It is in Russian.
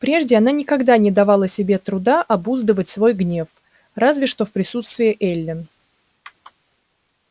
прежде она никогда не давала себе труда обуздывать свой гнев разве что в присутствии эллин